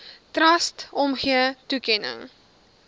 trust omgee toekenning